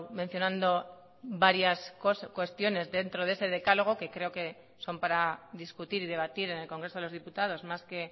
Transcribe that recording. mencionando varias cuestiones dentro de ese decálogo que creo que son para discutir y debatir en el congreso de los diputados más que